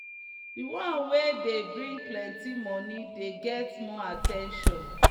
the one wey dey bring plenty moni dey get more at ten tion.